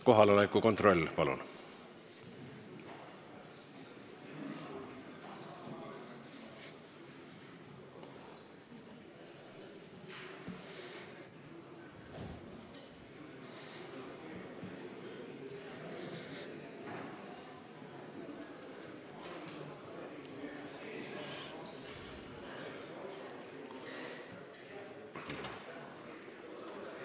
Kohaloleku kontroll, palun!